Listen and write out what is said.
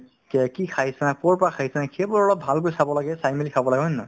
কে~ কি খাইছা ক'ৰ পৰা খাইছা সেইবোৰ অলপ ভালকৈ চাব লাগে চাই মেলি খাব লাগে হয় নে নহয়